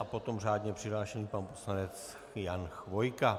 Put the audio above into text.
A potom řádně přihlášený pan poslanec Jan Chvojka.